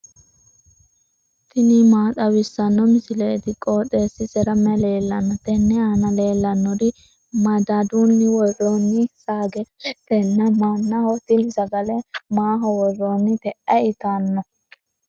tini maa xawissanno misileeti? qooxeessisera may leellanno? tenne aana leellannori madadunni worroonni sagaleetinna mannaho. tini sagale maaho worroonnite? ayi itanno?